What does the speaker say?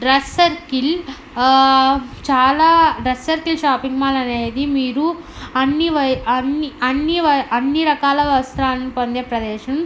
ఆ చాలా shopping mall అనేది మీరు అన్ని వై- అన్ని అన్ని వై- అన్ని రకాల వస్త్రాలని పొందే ప్రదేశం.